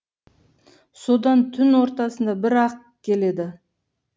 содан түн ортасында бір ақ келеді